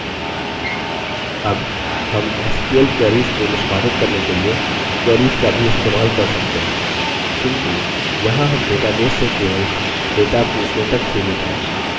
अब हम sql queries को निष्पादित करने के लिए queries का भी इस्तेमाल कर सकते हैं किन्तु यहाँ हम database से केवल data पूछने तक सीमित हैं